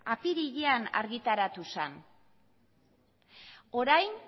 apirilean argitaratu zen orain